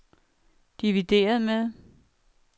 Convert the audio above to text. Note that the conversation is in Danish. divideret med